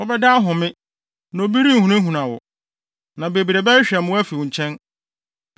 Wobɛda ahome, na obi renhunahuna wo, na bebree bɛhwehwɛ mmoa afi wo nkyɛn.